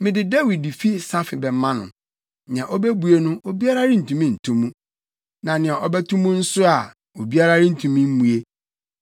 Mede Dawid fi safe bɛma no; nea obebue no obiara rentumi nto mu; na nea ɔbɛto mu nso a obiara rentumi mmue.